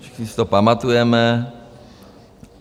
Všichni si to pamatujeme.